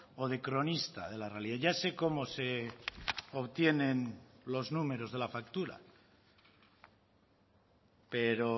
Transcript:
o de cronista de la realidad ya sé cómo se obtienen los números de la factura pero